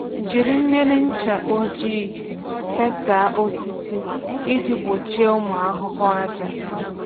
Jiri mmiri ncha ojii fesaa osisi iji gbochie ụmụ ahụhụ àjà.